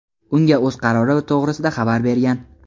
unga o‘z qarori to‘g‘risida xabar bergan.